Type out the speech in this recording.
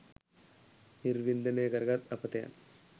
නිර්වින්දනය කරගත් අපතයන්